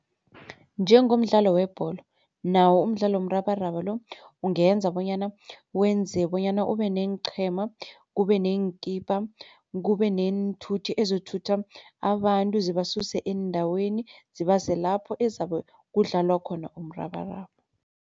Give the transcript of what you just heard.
Njengomdlalo webholo nawo umdlalo womrabaraba lo ungenza bonyana wenze bonyana ube neenqhema, kube neenkipa, kube neenthuthi ezithutha abantu zibasuse eendaweni zibase lapho ezabe kudlalwa khona umrabaraba.